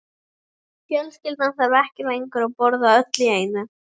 Fjölskyldan þarf ekki lengur að borða öll í einu.